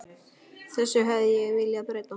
Þessu hefði ég viljað breyta.